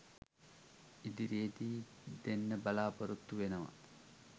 ඉදිරියේදී දෙන්න බලාපොරොත්තු වෙනවා.